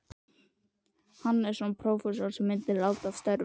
Hannessonar, prófessors, sem senn myndi láta af störfum.